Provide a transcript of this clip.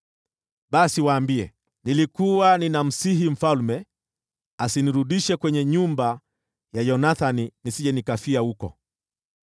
basi waambie, ‘Nilikuwa ninamsihi mfalme asinirudishe kwenye nyumba ya Yonathani nisije nikafia humo.’ ”